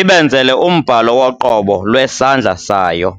ibenzele umbhalo woqobo lwesandla sayo.